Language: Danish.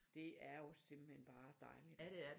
Det er jo simpelthen bare dejligt